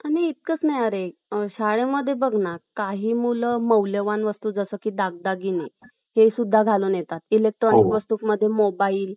आणि इतकच नाही आरे , शाळेमध्ये बघ ना काही मुलं मौल्यवान वस्तू जस काही दागदागिने हे सुद्धा घालून येतात , इलेक्ट्रॉनिक वस्तू मध्ये मोबाइल